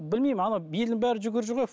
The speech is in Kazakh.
білмеймін ана елдің бәрі жүгіріп жүр ғой